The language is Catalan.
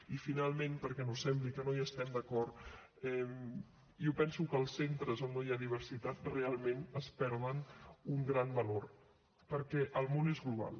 i finalment perquè no sembli que no hi estem d’acord jo penso que els centres on no hi ha diversitat realment es perden un gran valor perquè el món és global